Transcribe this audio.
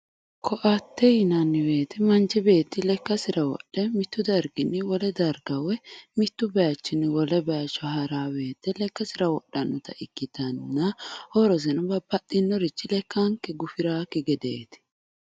koaatte yineemmo woyte manchi beetti lekkasira wodhe mittu darginni wole darga woy bayiichinni wole bayiicho ha'ranno woyte lekkasira wodhannota ikkitanna horoseno babbaxxinorichi lekkanke gufiraakkigedeeti